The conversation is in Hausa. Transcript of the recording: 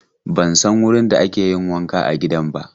Ban san wurin da ake yin wanka a gidan ba.